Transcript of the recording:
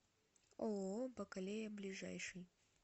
ооо бакалея ближайший